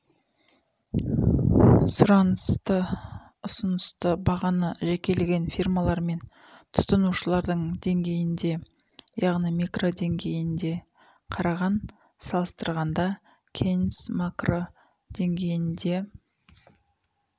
сұранысты ұсынысты бағаны жекелеген фирмалармен тұтынушылардың деңгейінде яғни микродеңгейінде қараған салыстырғанда кейнс макроденгейінде